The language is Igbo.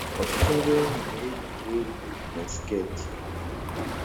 Ọtụtụ ndị nwunye na-eyi uwe elu na sket.